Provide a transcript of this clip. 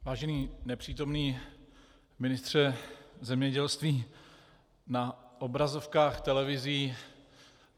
Vážený nepřítomný ministře zemědělství, na obrazovkách televizí